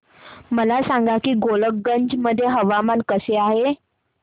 मला सांगा की गोलकगंज मध्ये हवामान कसे आहे